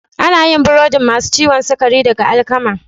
Ana yin burodin masu ciwon sukari daga alkama.